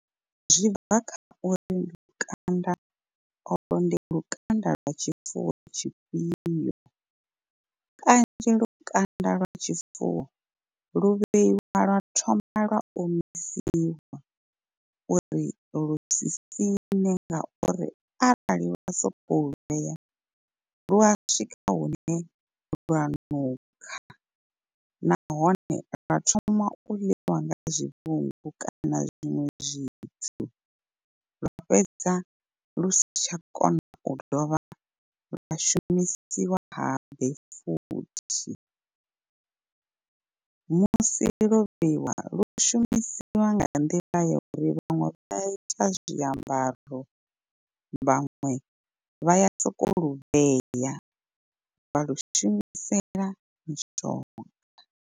Zwi bva kha uri lukanda olwo ndi lukanda lwa tshifuwo tshifhio, kanzhi lukanda lwa tshifuwo lu vheiwa lwa thoma lwa omisiwa u ri lu si siṋe ngauri arali wa sokou vhea lua swika hune lwa nukha. Nahone lwa thoma u ḽiwa nga zwivhungu kana zwiṅwe zwithu lwa fhedza lu si tsha kona u dovha lwa shumisiwa habe futhi. Musi lo vheiwa lu shumisiwa nga nḓila ya uri vhaṅwe vha ita zwiambaro vhaṅwe vha ya soko lu vhea vha lu shumisela mushonga.